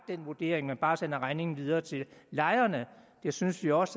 den vurdering men bare sender regningen videre til lejerne det synes vi også